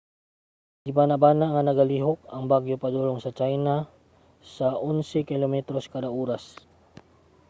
gibanabana nga nagalihok ang bagyo padulong sa china sa onse kilometros kada oras